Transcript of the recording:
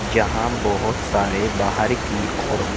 यहां बहोत सारी बाहर की ओर--